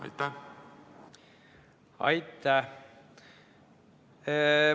Aitäh!